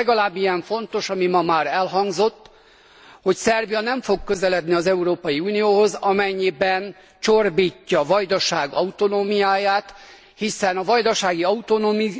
Legalább ilyen fontos az, ami ma már elhangzott, hogy Szerbia nem fog közeledni az Európai Unióhoz, amennyiben csorbítja a Vajdaság autonómiáját, hiszen a vajdasági